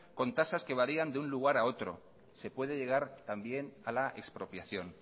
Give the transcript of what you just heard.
con tasas que varían de un lugar a otro se puede llegar también a la expropiación